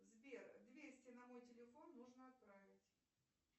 сбер двести на мой телефон нужно отправить